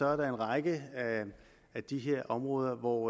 er der en række af de her områder hvor